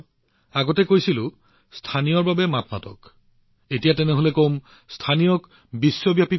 গতিকে যেতিয়া মই ভোকেল ফৰ লোকেল বুলি কওঁ এতিয়া লোকেল ফৰ গ্লোবেল বুলি কব লাগিব